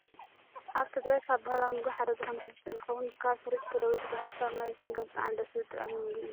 ኣብ ትግራይ ካብ ባህላዊ ምግቢ ሓደ ዝኮነ ሕብሽቲ እንትከውን፣ ካብ ሑሩጭ ተለዊሱ ብሃፋ ማይ ዝስንከት ብጣዕሚ ደስ ዝብልን ጡዑም ምግቢ እዩ።